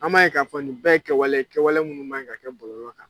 An b'a ye k'a fɔ nin bɛɛ kɛwale ye kɛwale minnu man ka kɛ bɔlɔlɔ kan